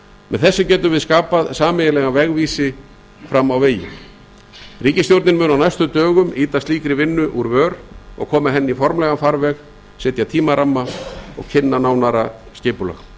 með því getum við skapað sameiginlegan vegvísi til framtíðar ríkisstjórnin mun á næstu dögum ýta slíkri vinnu úr vör og koma henni í formlegan farveg setja tímaramma og kynna nánara skipulag